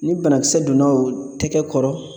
Ni banakisɛ donna o tɛgɛ kɔrɔ